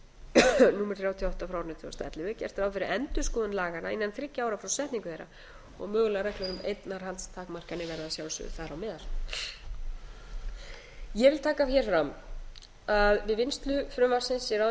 og ellefu er gert ráð fyrir endurskoðun laganna innan þriggja ára frá setningu þeirra og mögulegar reglur um eignarhaldstakmarkanir verða að sjálfsögðu þar á meðal ég vil taka hér fram að við vinnslu frumvarpsins í ráðuneyti